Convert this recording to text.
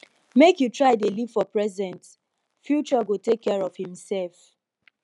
make you try dey live for present future go take care of imsef